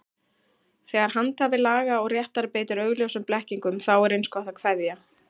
Þegar handhafi laga og réttar beitir augljósum blekkingum, þá er eins gott að kveðja.